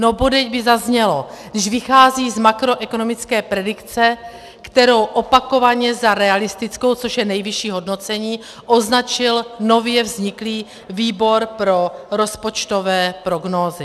No bodejť by zaznělo, když vychází z makroekonomické predikce, kterou opakovaně za realistickou, což je nejvyšší hodnocení, označil nově vzniklý Výbor pro rozpočtové prognózy.